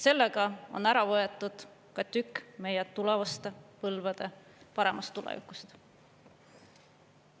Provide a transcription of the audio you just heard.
Sellega on ära võetud ka tükk meie tulevaste põlvede paremast tulevikust.